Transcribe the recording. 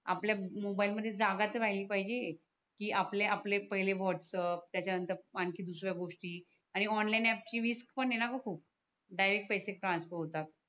आपल्या मोबाइलमध्ये जागा तर राहली पाहिजे की आपल आपले पहिले वॉट्सअप त्याच्या नंतर आणखि दुसऱ्या गोष्टी आणि ऑनलाइन आपची रिस्क पण आहेणा ग खूप डायरेक्ट पैसे ट्रान्सफर होतात